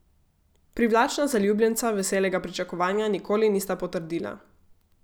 Privlačna zaljubljenca veselega pričakovanja nikoli nista potrdila.